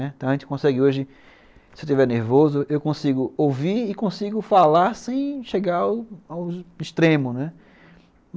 Então a gente consegue hoje, se eu estiver nervoso, eu consigo ouvir e consigo falar sem chegar ao extremo, né?